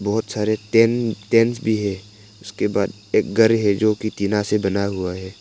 बहुत सारे tent tent भी है उसके बाद एक घर है जो की टीना से बना हुआ है।